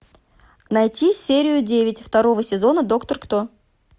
найти серию девять второго сезона доктор кто